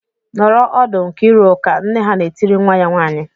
"Nọrọ ọdụ Nkiriuka!" Nne ha na-etiri nwa ya nwaanyị.